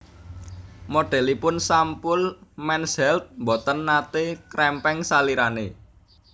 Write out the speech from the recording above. Modelipun sampul Men's Health mboten nate kerempeng salirane